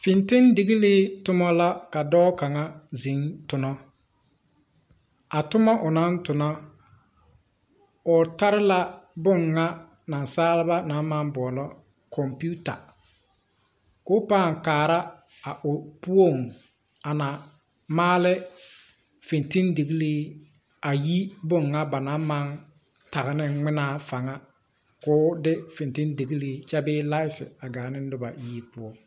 Fintildigilii tommo la ka dɔɔ kaŋa zeŋ tonɔ a tomma o naŋ tonɔ o tarre la bon ŋa nasaalba na maŋ boɔlɔ kɔmpiuta koo pãã kaara a o poɔŋ a na maale fintildigilii ayi bon ŋa ba naŋ maŋ tagene ngminaa faŋa koo de fintildigilii kyɛ bee laite a gaa ne nobo yie poɔ.